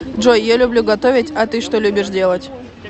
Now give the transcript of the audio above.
джой я люблю готовить а ты что любишь делать